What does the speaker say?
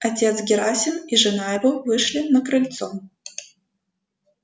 отец герасим и жена его вышли на крыльцо